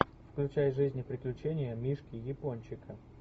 включай жизнь и приключения мишки япончика